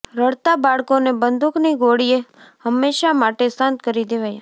રડતાં બાળકોને બંદૂકની ગોળીયે હમેશા માટે શાંત કરી દેવાયાં